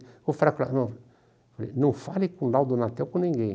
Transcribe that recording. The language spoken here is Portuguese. Vou falar com ele, não, falei não com o Laudo, com ninguém.